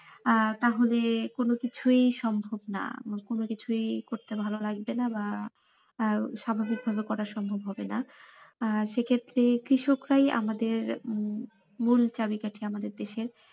আহ তাহলে কোনোকিছুই সম্ভব না কোনো কিছুই করতে ভালো লাগবে না বা আহ স্বাভাবিকভাবে করা সম্ভব হবে না আহ সেক্ষেত্রে কৃষকরাই আমাদের উম মূল চাবি কাঠি আমাদের দেশে।